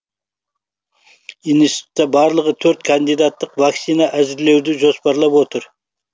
институтта барлығы төрт кандидаттық вакцина әзірлеуді жоспарлап отыр